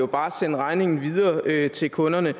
bare sende regningen videre til kunderne